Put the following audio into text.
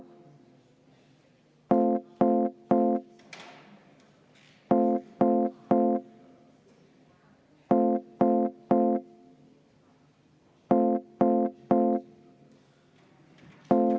Ilu on vaataja silmades.